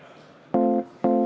Raimond Kaljulaid, palun!